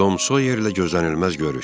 Tom Soyerlə gözlənilməz görüş.